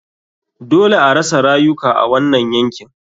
Dole arasa rayuka a wanan yakin.